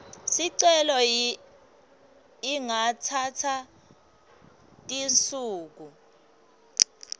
sicelo ingatsatsa tinsuku